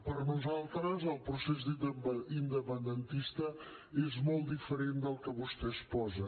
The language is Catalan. per nosaltres el procés independentista és molt diferent del que vostè exposa